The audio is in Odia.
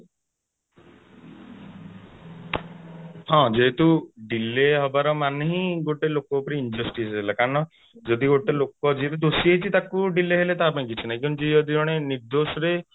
ହଁ ଯେହେତୁ delay ହବାର ମାନେ ହିଁ ଗୋଟେ ଲୋକ ସହ injustice ହେଲା କାରଣ ଯଦି ଗୋଟେ ଲୋକ ଯିୟେ ବି ଦୋଷୀ ହେଇଛି ତାକୁ delay ହେଲା ତା ପାଇଁ କିଛି ନାହିଁ କିନ୍ତୁ ଯଦି ଜଣେ ନିର୍ଦ୍ଦୋଷ ରେ